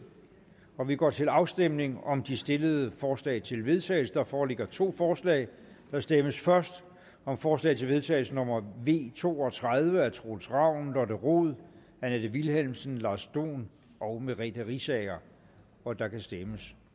og vi går til afstemning om de stillede forslag til vedtagelse der foreligger to forslag der stemmes først om forslag til vedtagelse nummer v to og tredive af troels ravn lotte rod annette vilhelmsen lars dohn og merete riisager og der kan stemmes